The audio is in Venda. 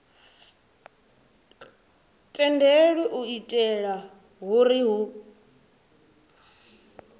tendelwi u itela uri hu